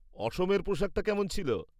অসমের পোশাকটা কেমন ছিল?